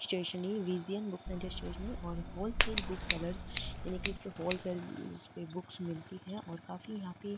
स्टेशनरी Vijayan book centre stationery और wholesales book seller यानि के इसपे हॉल सेल पर बुक्स मिलती है और काफी यहां पे --